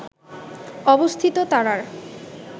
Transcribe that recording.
অবস্থিত তারার